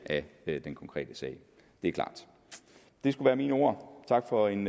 af den konkrete sag det er klart det skulle være mine ord tak for en